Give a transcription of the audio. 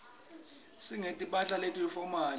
singeti mphahla leti fomali